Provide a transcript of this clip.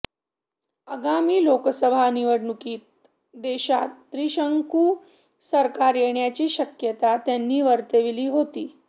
आगामी लोकसभा निवडणुकीत देशात त्रिशंकू सरकार येण्याची शक्यता त्यांनी वर्तविली होती